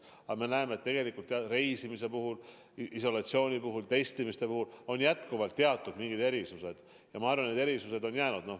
Aga me näeme, et tegelikult reisimise puhul, isolatsiooni puhul, testimise puhul on jätkuvalt alles teatud erisused, ja ma arvan, et need erisused jäävad.